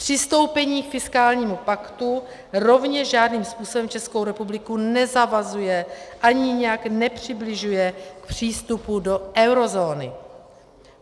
Přistoupení k fiskálnímu paktu rovněž žádným způsobem Českou republiku nezavazuje ani nijak nepřibližuje k přístupu do eurozóny.